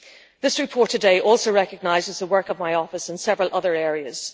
This report today also recognises the work of my office in several other areas.